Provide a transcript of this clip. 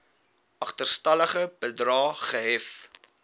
agterstallige bedrae gehef